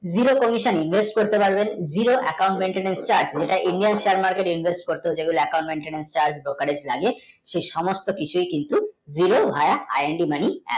zero komison invest করতে পারবেন zero account church ওই টা indian shaer market এ invest করতে হচ্ছে দোকানে লাগে সেই সমস্ত কিছু কিন্তু জিরো aaia apps mani